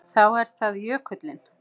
Þá er það jökullinn.